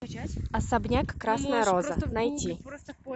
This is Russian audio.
особняк красная роза найти